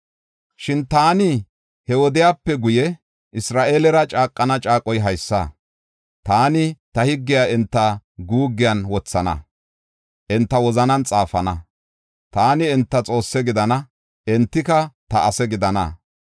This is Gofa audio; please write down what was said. “Shin taani he wodiyape guye Isra7eelera caaqana caaqoy haysa: taani ta higgiya enta guuggiyan wothana; enta wozanan xaafana. Taani enta Xoosse gidana; entika ta ase gidana.